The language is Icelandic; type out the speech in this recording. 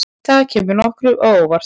Þetta kemur nokkuð á óvart.